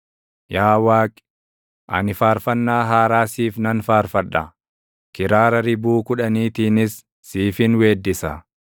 Yaa Waaqi, ani faarfannaa haaraa siif nan faarfadha; kiraara ribuu kudhaniitiinis siifin weeddisa;